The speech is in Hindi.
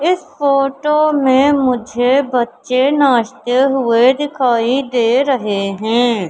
इस फोटो में मुझे बच्चे नाचते हुए दिखाई दे रहे है।